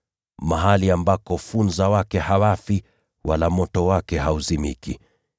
mahali ambako “ ‘funza wake hawafi, wala moto wake hauzimiki.’